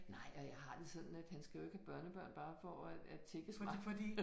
Nej og jeg har det sådan at han skal jo ikke have børnebørn bare for at at tækkes mig